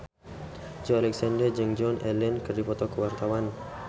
Joey Alexander jeung Joan Allen keur dipoto ku wartawan